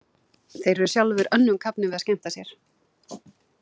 Þeir eru sjálfir önnum kafnir við að skemmta sér.